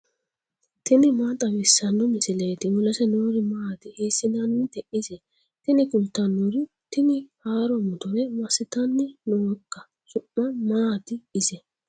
tini maa xawissanno misileeti ? mulese noori maati ? hiissinannite ise ? tini kultannori tini haaro motore massitanni nooikka su'ma maati ise